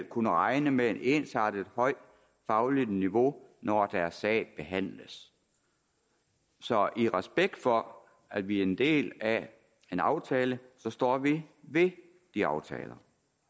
kunne regne med et ensartet højt fagligt niveau når deres sag behandles så i respekt for at vi er en del af en aftale står vi ved de aftaler